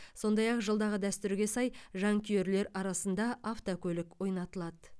сондай ақ жылдағы дәстүрге сай жанкүйерлер арасында автокөлік ойнатылады